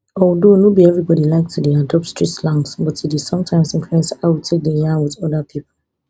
although no be evribody like to dey adopt street slangs but e dey sometimes influence how we take dey yarn wit oda pipo